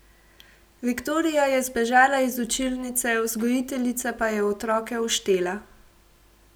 Viktorija je zbežala iz učilnice, vzgojiteljica pa je otroke oštela.